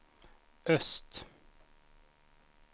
öst